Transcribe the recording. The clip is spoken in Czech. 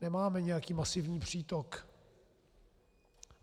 Nemáme nějaký masivní přítok.